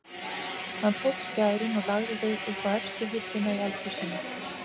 Hann tók skærin og lagði þau upp á efstu hillu í eldhúsinu.